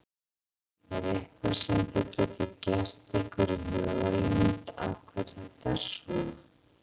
Er eitthvað sem þið getið gert ykkur í hugarlund af hverju þetta er svona?